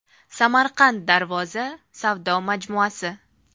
Samarqand Darvoza savdo majmuasi.